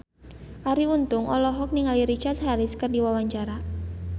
Arie Untung olohok ningali Richard Harris keur diwawancara